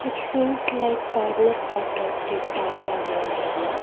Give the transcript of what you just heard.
it seems like corner part of the town or an area.